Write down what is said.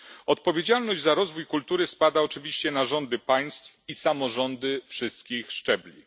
Odpowiedzialność za rozwój kultury spada oczywiście na rządy państw i samorządy wszystkich szczebli.